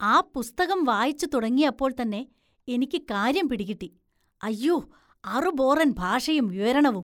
ആ പുസ്തകം വായിച്ചു തുടങ്ങിയപ്പോള്‍ തന്നെ എനിക്ക് കാര്യം പിടികിട്ടി, അയ്യോ, അറുബോറന്‍ ഭാഷയും വിവരണവും